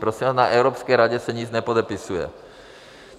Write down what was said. Prosím vás, na Evropské radě se nic nepodepisuje.